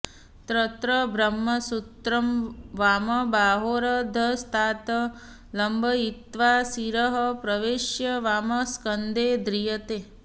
तत्र ब्रह्मसूत्रं वामबाहोरधस्तात् लम्बयित्वा शिरः प्रवेश्य वामस्कन्धे ध्रियते